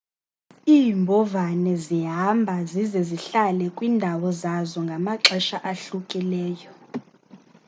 iimbovane zihamba zize zihlale kwiindawo zazo ngamaxesha ahlukileyo i